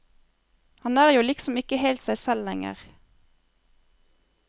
Han er jo liksom ikke helt seg selv lenger.